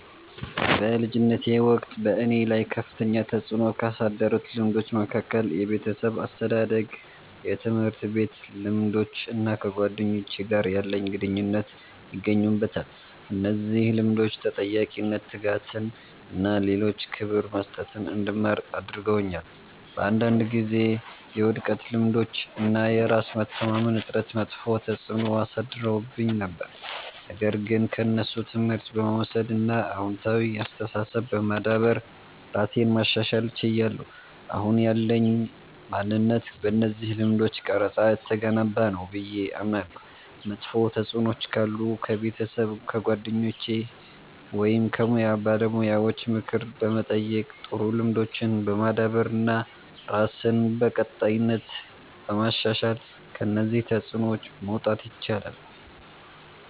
በልጅነቴ ወቅት በእኔ ላይ ከፍተኛ ተጽዕኖ ካሳደሩት ልምዶች መካከል የቤተሰብ አስተዳደግ፣ የትምህርት ቤት ልምዶች እና ከጓደኞቼ ጋር ያለኝ ግንኙነት ይገኙበታል። እነዚህ ልምዶች ተጠያቂነትን፣ ትጋትን እና ለሌሎች ክብር መስጠትን እንድማር አድርገውኛል። በአንዳንድ ጊዜ የውድቀት ልምዶች እና የራስ መተማመን እጥረት መጥፎ ተጽዕኖ አሳድረውብኝ ነበር፣ ነገር ግን ከእነሱ ትምህርት በመውሰድ እና አዎንታዊ አስተሳሰብ በማዳበር ራሴን ማሻሻል ችያለሁ። አሁን ያለኝ ማንነት በእነዚህ ልምዶች ተቀርጾ የተገነባ ነው ብዬ አምናለሁ። መጥፎ ተጽዕኖዎች ካሉ ከቤተሰብ፣ ከጓደኞች ወይም ከሙያ ባለሙያዎች ምክር በመጠየቅ፣ ጥሩ ልምዶችን በማዳበር እና ራስን በቀጣይነት በማሻሻል ከእነዚህ ተጽዕኖዎች መውጣት ይቻላል።